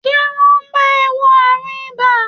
Ṣé wọ́n ti bá e wo àrùn ibà?